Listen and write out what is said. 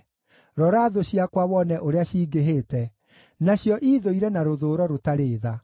Rora thũ ciakwa wone ũrĩa cingĩhĩte, nacio iithũire na rũthũũro rũtarĩ tha!